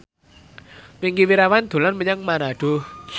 Wingky Wiryawan dolan menyang Manado